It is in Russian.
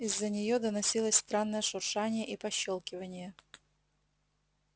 из-за неё доносилось странное шуршание и пощёлкивание